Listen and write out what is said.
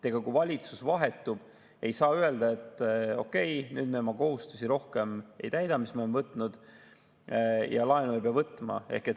Kui valitsus vahetub, ei saa öelda, et okei, nüüd me rohkem ei täida oma kohustusi, mis me oleme võtnud, ja laenu ei pea võtma.